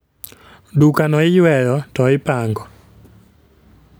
Duka no iyweyo , to ipango